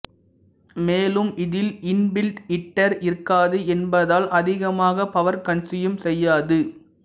மேலும் இதில் inbuilt heater இருக்காது என்பதால் அதிகமாக பவர் கன்ஸ்யூம் செய்யாது